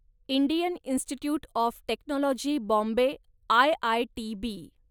Indian institute of technology Bombay, IITB